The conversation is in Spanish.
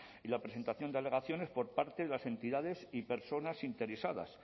y la presentación de alegaciones por parte de las entidades y personas interesadas